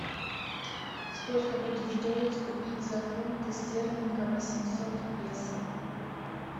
сколько будет стоить купить за фунты стерлинга восемьсот песо